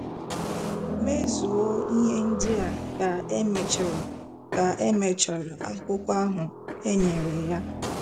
Mezue ihe ndị a ka emechara ka emechara akụkụ ahụ enyere ya.